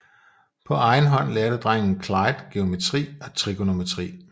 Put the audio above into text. På egen hånd lærte drengen Clyde geometri og trigonometri